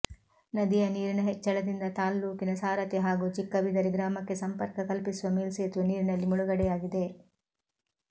ನದಿಯ ನೀರಿನ ಹೆಚ್ಚಳದಿಂದ ತಾಲ್ಲೂಕಿನ ಸಾರಥಿ ಹಾಗೂ ಚಿಕ್ಕಬಿದರಿ ಗ್ರಾಮಕ್ಕೆ ಸಂಪರ್ಕ ಕಲ್ಪಿಸುವ ಮೇಲ್ಸೇತುವೆ ನೀರಿನಲ್ಲಿ ಮುಳುಗಡೆಯಾಗಿದೆ